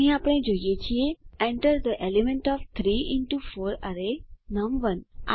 અહીં આપણે જોઈ શકીએ છીએ enter the element of 3 into 4 array નમ1